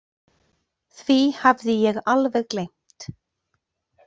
Því hafði ég alveg gleymt.